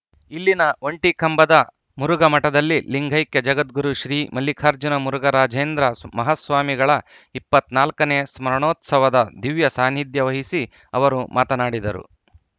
ಇಲ್ಲಿನ ಒಂಟಿಕಂಬದ ಮುರುಘಾ ಮಠದಲ್ಲಿ ಲಿಂಗೈಕ್ಯ ಜಗದ್ಗುರು ಶ್ರೀ ಮಲ್ಲಿಕಾರ್ಜುನ ಮುರುಘರಾಜೇಂದ್ರ ಮಹಾಸ್ವಾಮಿಗಳ ಇಪ್ಪತ್ತ್ ನಾಲ್ಕ ನೇ ಸ್ಮರಣೋತ್ಸವದ ದಿವ್ಯ ಸಾನ್ನಿಧ್ಯ ವಹಿಸಿ ಅವರು ಮಾತನಾಡಿದರು